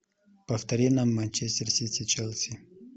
повтори нам манчестер сити челси